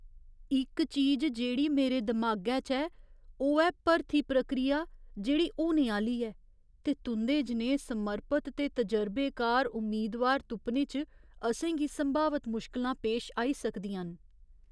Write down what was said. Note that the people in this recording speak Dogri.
इक चीज जेह्ड़ी मेरे दमागै च ऐ, ओह् ऐ भरथी प्रक्रिया जेह्ड़ी होने आह्‌ली ऐ, ते तुं'दे जनेहे समर्पत ते तजरबेकार उम्मीदवार तुप्पने च असें गी संभावत मुश्कलां पेश आई सकदियां न।